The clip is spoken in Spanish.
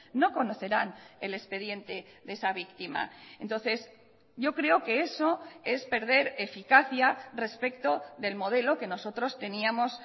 no conocerán el expediente de esa víctima entonces yo creo que eso es perder eficacia respecto del modelo que nosotros teníamos